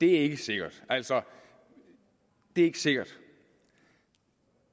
er ikke sikkert altså det er ikke sikkert